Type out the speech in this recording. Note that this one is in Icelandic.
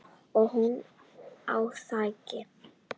Og hún á þig.